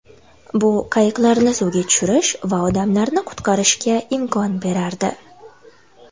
Bu qayiqlarni suvga tushirish va odamlarni qutqarishga imkon berardi.